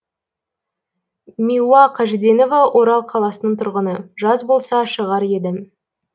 миуа қажиденова орал қаласының тұрғыны жаз болса шығар едім